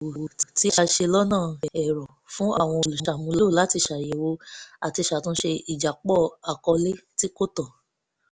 ètò ìsòwò tí a ṣe lọ́nà ẹ̀rọ fún àwọn olùṣàmúlò láti ṣàyẹ̀wò àti ṣàtúnṣe ìjápọ̀ àkọọ́lẹ̀ tí kò tọ́